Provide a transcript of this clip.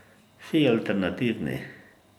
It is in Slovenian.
Vsi alternativni.